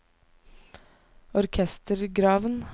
orkestergraven